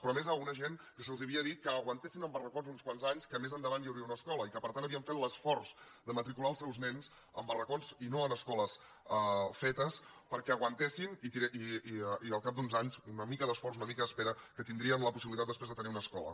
però a més a una gent que se’ls havia dit que aguantessin en barracons uns quants anys que més endavant hi hauria una escola i que per tant havien fet l’esforç de matricular els seus nens en barracons i no en escoles fetes perquè aguantessin i que al cap d’uns anys d’una mica d’esforç d’una mica d’espera tindrien la possibilitat després de tenir una escola